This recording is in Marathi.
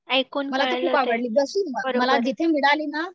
ऐकून कळलं पण